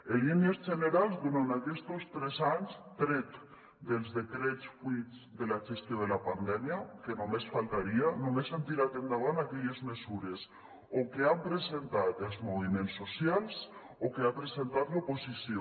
en línies generals durant aquestos tres anys tret dels decrets fruit de la gestió de la pandèmia que només faltaria només han tirat endavant aquelles mesures o que han presentat els moviments socials o que ha presentat l’oposició